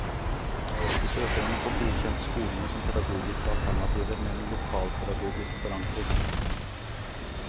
De søker om å få godkjent skolene som pedagogiske alternativer med en lokalpedagogisk forankring.